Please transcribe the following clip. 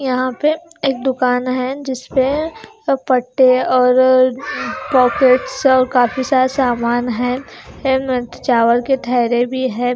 यहाँ पर एक दुकान है जिस पर अर पटे और प्रोफेट्स और काफी सारा सामान है चावल के थैले भी है।